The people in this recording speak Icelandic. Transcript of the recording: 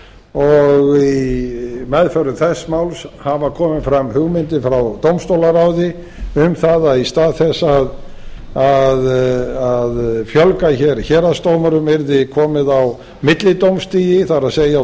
og í meðförum þess máls hafa komið fram hugmyndir frá dómstólaráði um að í stað þess að fjölga hér héraðsdómurum yrði komið á millidómsstigi það er